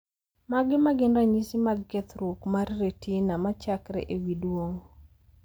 Mage magin ranyisi mag kethruok mar retina machakre ewi duong`?